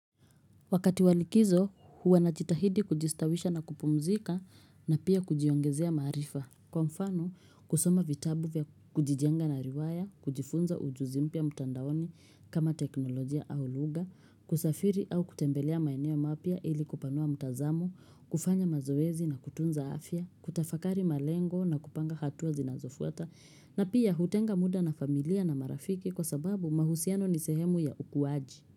Wakati walikizo huwa najitahidi kujistawisha na kupumzika na pia kujiongezea maarifa Kwa mfano kusoma vitabu vya kujijenga na riwaya, kujifunza ujuzi mpya mtandaoni kama teknolojia au lugha kusafiri au kutembelea maeneo mapya ili kupanua mtazamo kufanya mazoezi na kutunza afya, kutafakari malengo na kupanga hatua zinazofuata na pia hutenga muda na familia na marafiki kwa sababu mahusiano ni sehemu ya ukuwaji.